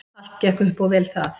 Allt gekk upp og vel það.